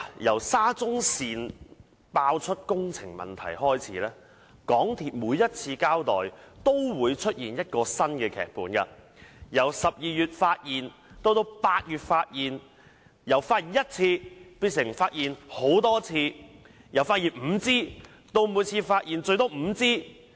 由沙中線爆出工程問題開始，港鐵公司每一次交代，都會出現一個新的劇本：由12月發現，變成8月發現；由發現一次，變成發現很多次；由發現5支，變成每次發現最多5支。